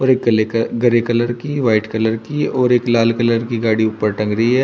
भूरे कलेका grey colour की व्हाइट कलर की और एक लाल कलर की गाड़ी ऊपर टंग रही है।